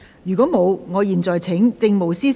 如果沒有，我現在請政務司司長答辯。